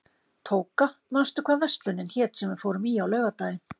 Tóka, manstu hvað verslunin hét sem við fórum í á laugardaginn?